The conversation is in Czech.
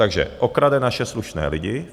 Takže okrade naše slušné lidi -